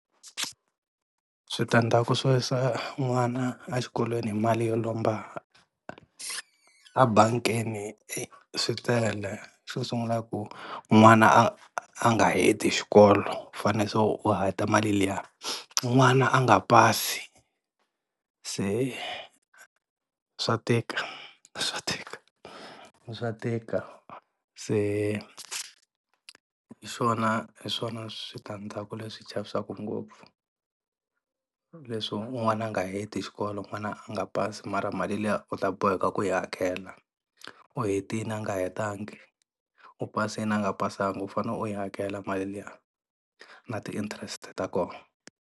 Switandzhaku swo yisa n'wana a xikolweni hi mali yo lomba ebangini e swi tele xo sungula i ku n'wana a a nga heti xikolo u fanele se u hakela mali liya, n'wana a nga pasi se swa tika swa tika swa tika se hi swona hi swona switandzhaku leswi chavisaka ngopfu leswi n'wana a nga heti xikolo n'wana a nga pasi mara mali liya u ta boheka ku yi hakela. U hetini a nga hetanga, u pasini a nga pasanga u fane u yi hakela mali liya na ti interest ta kona.